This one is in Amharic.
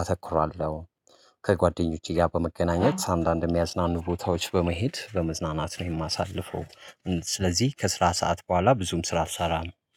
አተኩራለሁ። ከጓደኞቼ ጋ በመገናኘት አንዳንድ የሚያዝናኑ ቦታዎች በመሄድ በመዝናናት ነው የማሳልፈው። ስለዚህ ከስራ ሰዓት በኋላ ብዙም ስራ አልሠራም